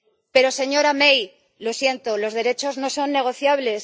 Pero, señora May, lo siento, los derechos no son negociables.